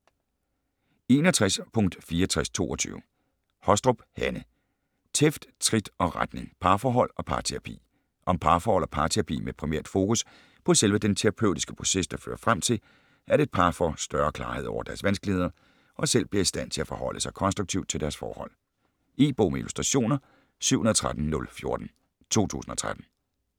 61.6422 Hostrup, Hanne: Tæft, trit og retning: parforhold og parterapi Om parforhold og parterapi med primært fokus på selve den terapeutiske proces, der fører frem til, at et par får større klarhed over deres vanskeligheder og selv bliver i stand til at forholde sig konstruktivt til deres forhold. E-bog med illustrationer 713014 2013.